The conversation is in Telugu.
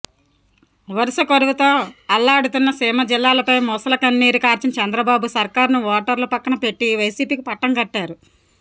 వరుస కరువుతో అల్లాడుతున్న సీమ జిల్లాలపై మొసలికన్నీరు కార్చిన చంద్రబాబు సర్కారును ఓటర్లు పక్కన పెట్టి వైసిపికి పట్టం కట్టారు